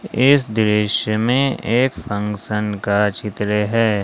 इस दृश्य में एक फंक्शन का चित्र है।